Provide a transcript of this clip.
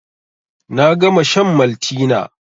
Na gama shan Maltina